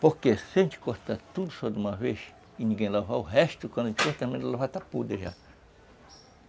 Porque se a gente cortar tudo só de uma vez e ninguém lavar, o resto quando a gente for terminar de lavar, já está podre já.